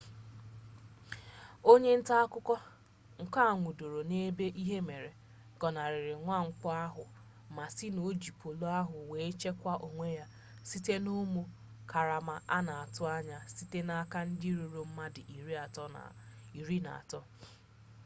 onye nta akụkọ nke a nwụdoro n'ebe ihe mere gọnarịrị mwakpọ ahụ ma sị na o ji polu ahụ were chekwaa onwe ya site na ụmụ karama a na-atụ ya site n'aka ndị ruru ndị mmadụ iri na atọ